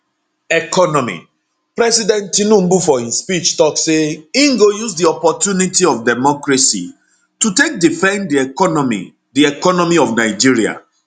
economy president tinubu for im speech tok say im go use di opportunity of democracy to take defend di economy di economy of nigeria